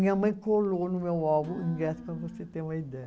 Minha mãe colou no meu álbum os ingressos para você ter uma ideia.